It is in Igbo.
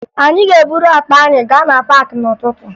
Anyị ga-eburu akpa anyị gaa na paakị n'ụtụtụ